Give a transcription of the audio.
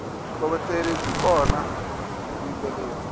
vutlhokovetseri byi kona hi vuyimbeleri